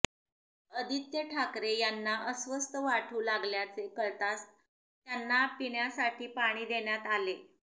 आदित्य ठाकरे यांना अस्वस्थ वाटू लागल्याचे कळताच त्यांना पिण्यासाठी पाणी देण्यात आले